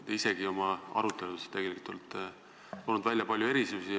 Te isegi olete siin arutelus toonud välja palju erisusi.